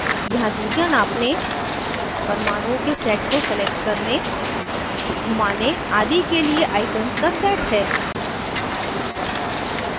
यहाँ दूरियां नापने परमाणुओं के set को select करने घूमाने आदि के लिए icons का set है